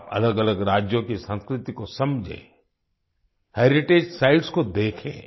आप अलगअलग राज्यों की संस्कृति को समझें हेरिटेज साइट्स को देखें